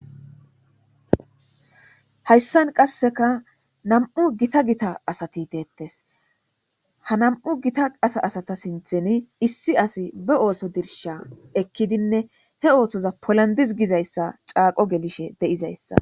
hayssan qasseka nam7u gita gita asati deettes ha nam7u gita asa asata sinthen issi asi be ooso dirsha ekkidinne he ooththoza polandiz gizayssa caaqo gelishe de7izayssa